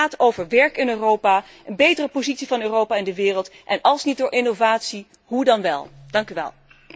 Het gaat over werk in Europa, een betere positie van Europa in de wereld en als niet door innovatie, hoe dan wel?